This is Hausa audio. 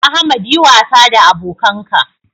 Ahmad yi wasa da abokanka